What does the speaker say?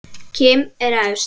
Kim er efst.